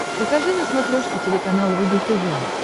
покажи на смотрешке телеканал рубль тв